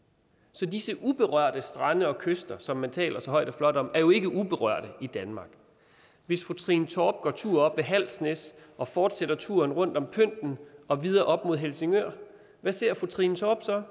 så disse uberørte strande og kyster som man taler så højt og flot om er jo ikke uberørte i danmark hvis fru trine torp går tur oppe ved halsnæs og fortsætter turen rundt om pynten og videre op mod helsingør hvad ser fru trine torp så